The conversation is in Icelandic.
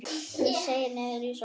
Hann seig niður í sófann.